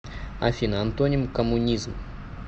афина антоним коммунизм